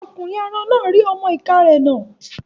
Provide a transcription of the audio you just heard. Ọkùnrin arọ náà rí ọmọ-ìká rẹ̀ nà